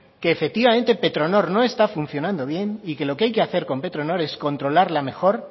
que efectivamente petronor no está funcionando bien y que lo que hay que hacer con petronor es controlarla mejor